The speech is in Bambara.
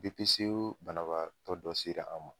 BPCO banabagatɔ dɔ sela an ma.